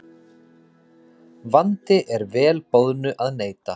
Vandi er vel boðnu að neita.